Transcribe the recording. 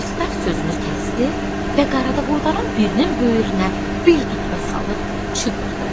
Pristav sözünü kəsdi və qarabovoyların birinin böyrünə bir dürtmə salıb çığırdı.